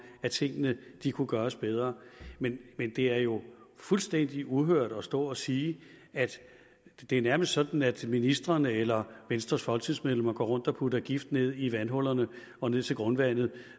at tingene kunne gøres bedre men det er jo fuldstændig uhørt at stå og sige at det nærmest er sådan at ministrene eller venstres folketingsmedlemmer går rundt og putter gift ned i vandhullerne og ned til grundvandet